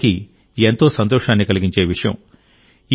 ఇది వారికి ఎంతో సంతోషాన్ని కలిగించే విషయం